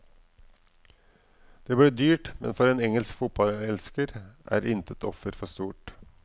Det blir dyrt, men for en engelsk fotballelsker er intet offer for stort.